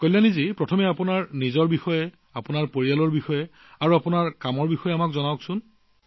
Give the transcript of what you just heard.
কল্যাণী জী প্ৰথমে নিজৰ আপোনাৰ পৰিয়াল আৰু আপোনাৰ কামৰ বিষয়ে কিবা এটা কওক